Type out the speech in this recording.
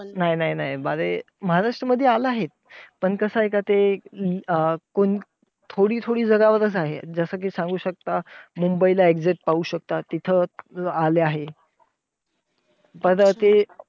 नाही नाही नाही. अरे महाराष्ट्रमध्ये आला आहे. पण कसंय का ते अं कोण थोडी थोडी जरा वरचं आहे. जसं कि सांगू शकता, मुंबईला exact पाहू शकता तिथं आलं आहे. पर ते